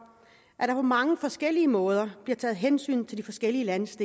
at der på mange forskellige måder bliver taget hensyn til de forskellige landsdele